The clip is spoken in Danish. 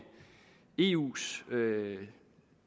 eus